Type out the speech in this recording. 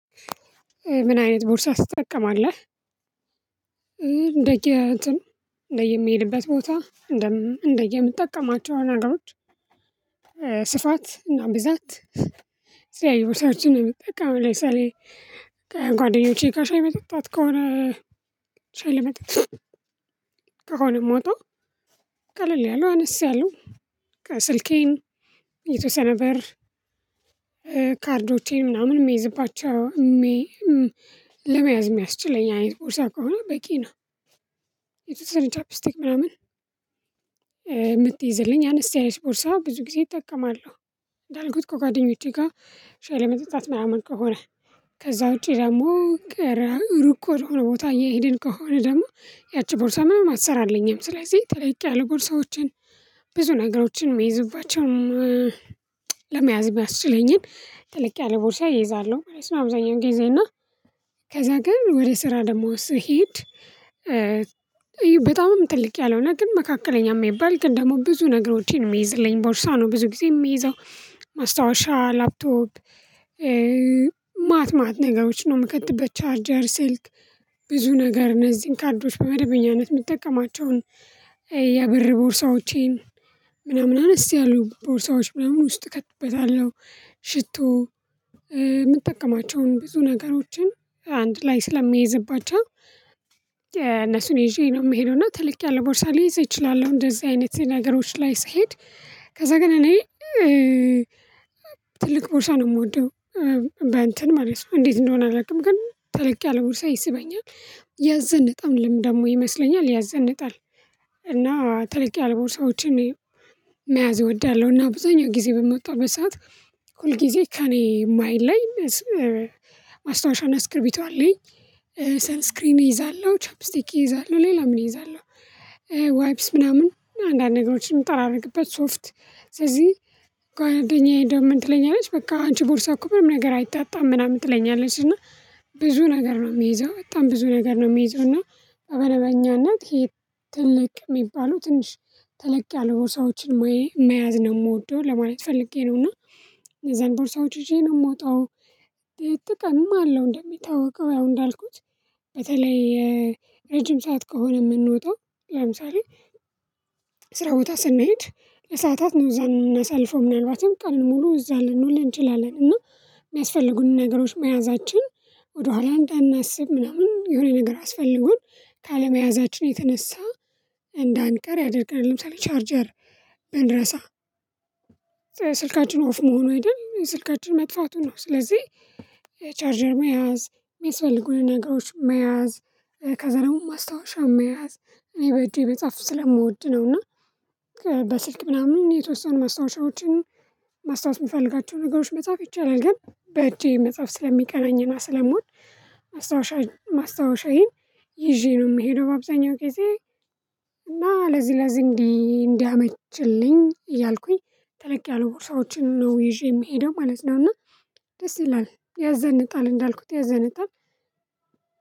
ምን አይነት ቦርሳ ትጠቀማለህ እንደየትን እንደየምሄድበት ቦታ እንደ እንደየምጠቀማቸው ነገሮች ስፋት እና ብዛት ሲያዩ ሰዎችን ነው ምጠቀመው ለምሳሌ ከጓደኞቼ ጋር ሻይ ለመጠጣት ከሆነ ሻይ ለመጠጣት ከሆነ የምወጣው ቀለል ያሉ አነስያሉ ከስልኬን የተወሰነ ብር ካርዶቼን ምናምን የሚይዝባቸው ለመያዝ የሚያስችለኝ አይነት ቦርሳ ከሆነ በቂ ነው። የተወሰነ ቻፕ ስቴክ ምናምን የምትይዝልኝ አነስተኛ ቦርሳ ብዙ ጊዜ እጠቀማለሁ። እንዳልኩት ከጓደኞቼ ጋር ሻይ ለመጠጣት ምናምን ከሆነ ከዛ ውጪ ደግሞ ሩቅ ወደሆነ ቦታ እየሄድን ከሆነ ደግሞ ያቺ ቦርሳ ምንም አትሰራልኝም። ስለዚህ ተለቅ ያለ ቦርሳዎችን ብዙ ነገሮችን የሚይዙባቸውን ለመያዝ የሚያስችለኝን ተልቅ ያለ ቦርሳ እይዛለሁ ማለት ነው አብዛኛው ጊዜ። እና ከዛ ግን ወደ ስራ ደግሞ ስሄድ በጣምም ትልቅ ያልሆነ ግን መካከለኛ የሚባል ግን ደግሞ ብዙ ነገሮችን የሚይዝልኝ ቦርሳ ነው ብዙ ጊዜ የሚይዘው። ማስታወሻ ላፕቶፕ ማት ማት ነገሮች ነው ምክተበት። ቻርጀር ሴልክ ብዙ ነገር እነዚህን ካርዶች በመደበኛነት የምጠቀማቸውን የብር ቦርሳዎቼን ምናምን አነስ ያሉ ቦርሳዎች ምናምን ውስጥ እከትበታለሁ። ሽቶ የምጠቀማቸውን ብዙ ነገሮችን አንድ ላይ ስለሚይዝባቸው እነሱን ይዤ ነው የምሄደው። እና ትልቅ ያለ ቦርሳ ሊይዝ እይችላለሁ እንደዚህ አይነት ነገሮች ላይ ስሄድ። ከዛ ግን እኔ ትልቅ ቦርሳ ነው የምወደው። በእንትን ማለት ነው እንዴት እንደሆነ አላውቅም ግን ተለቅ ያለ ቦርሳ ይስበኛል። ያዘንጣልም ደግሞ ይመስለኛል ያዘንጣል። እና ተለቅ ያሉ ቦርሳዎችን መያዝ እወዳለሁ። እና ብዙኛው ጊዜ በምወጣው በሰአት ሁል ጊዜ ከእኔ የማይለይ እና ማስታዋሻና ቶስክርቢቱ አለኝ። ሰን ስክሪን እይዛለሁ። ቻፕ ስቲክ እይዛለሁ። ሌላ ምን እይዛለሁ። ዋይፕስ ምናምን አንዳንድ ነገሮችን ጠራርግበት ሶፍት ስለዚህ ጓደኛየ እንደውም ምን ትለኛለች በቃ አንቺ ቦርሳ እኮ በርም ነገር አይጣጣም ምናምን ትለኛለች። እና ብዙ ነገር ነው የምይዘው፤ በጣም ብዙ ነገር ነው የምይዘው። እና በመደበኛነት ይሄ ትልቅ የሚባለው ትንሽ ትልቅ ያሉ ቦርሳዎችን መያዝ ነው የምወደው ለማለት ፈልጌ ነው። እና እነዛን ቦርሳዎች ይዤ ነው የምወጣው። ጥቅምም አለው እንደሚታወቀው ያው እንዳልኩት በተለይ ረጅም ሰዓት ከሆነ የምንወጣው ለምሳሌ ስራ ቦታ ስንሄድ ለሰአታት ነው እዛ ምናሳልፈው። ምናልባትም ቀኑን ሙሉ እዛ ልንውል እንችላለን። እና የሚያስፈልጉንን ነገሮች መያዛችን ወደኋላ እንዳናስብ ምናምን የሆነ ነገር አስፈልጎን ካለመያዛችን የተነሳ እንዳንቀር ያደርጋል። ለምሳሌ ቻርጀር ብንረሳ ስልካችን ኦፍ መሆኑ አይደል? ስልካችን መጥፋቱ ነው። ስለዚህ ቻርጀር መያዝ የሚያስፈልጉን ነገሮች መያዝ ከዛ ደግሞ ማስታወሻ መያዝ እኔ በእጄ መጻፍ ስለምወድ ነው። እና በስልክ ምናምን የተወሰኑ ማስታወሻዎችን ማስታወስ የምፈልጋቸው ነገሮች መጻፍ ይቻላል። ግን በእጄ መጻፍ ስለሚቀናኝ እና ስለምውድ ማስታወሻ ማስታወሻዬን ይዤ ነው የምሄደው በአብዛኛው ጊዜ እና ለዚህ ለዚህ እንዲህ እንዲያመችልኝ እያልኩኝ ተለቅ ያለ ቦርሳዎችን ነው ይዤ የምሄደው ማለት ነው። እና ደስ ይላል። ያዘንጣል እንዳልኩት ያዘንጣል።